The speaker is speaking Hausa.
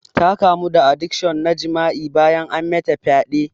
Ta kamu da adikshon na jima'i bayan an mata fyaɗe.